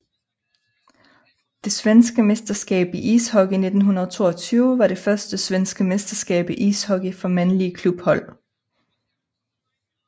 Det svenske mesterskab i ishockey 1922 var det første svenske mesterskab i ishockey for mandlige klubhold